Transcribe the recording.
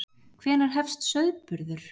Hvenær hefst sauðburður?